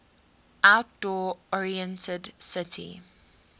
outdoor oriented city